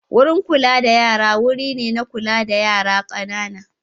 Wurin kula da yara wuri ne na kula da yara ƙanana.